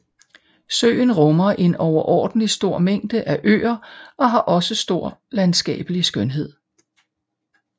Søen rummer en overordentlig stor mængde af øer og har også stor landskabelig skønhed